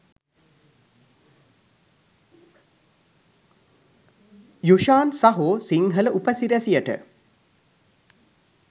යුශාන් සහෝ සිංහල උපසිරැසියට.